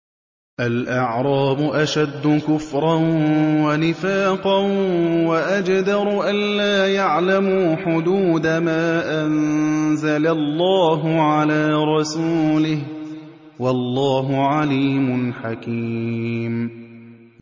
الْأَعْرَابُ أَشَدُّ كُفْرًا وَنِفَاقًا وَأَجْدَرُ أَلَّا يَعْلَمُوا حُدُودَ مَا أَنزَلَ اللَّهُ عَلَىٰ رَسُولِهِ ۗ وَاللَّهُ عَلِيمٌ حَكِيمٌ